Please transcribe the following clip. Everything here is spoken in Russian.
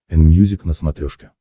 энмьюзик на смотрешке